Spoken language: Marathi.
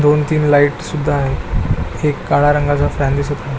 दोन तीन लाइट सुद्धा आहे एक काळा रंगाचा फॅन दिसत आहे.